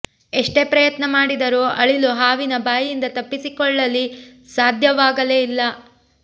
ಎಷ್ಟೇ ಪ್ರಯತ್ನ ಮಾಡಿದರೂ ಅಳಿಲು ಹಾವಿನ ಬಾಯಿಂದ ತಪ್ಪಿಸಿಕೊಳ್ಳಲಿ ಸಾಧ್ಯವಾಗಲೇ ಇಲ್ಲ